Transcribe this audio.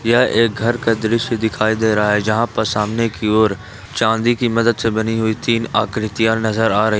यह एक घर का दृश्य दिखाई दे रहा है जहां पर सामने की ओर चांदी की मदद से बनी हुई तीन आकृतियां नजर आ रही।